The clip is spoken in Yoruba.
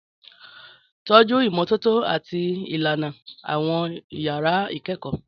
Tọ́jú ìmọ́tótó àti ìlànà àwọn yàrá ìkẹ́kọ̀ọ́.